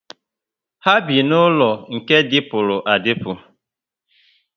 Ha bi n'ulo nke dipuru adipu